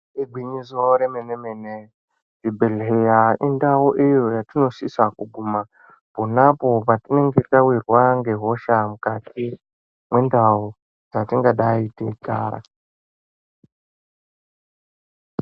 Igwinyiso remene mene kuzvibhedhlera indau iyo yatinosisa kuguma ponapo patinenge tawirwa ngehosha mukati mwendau dzatingadai teigara.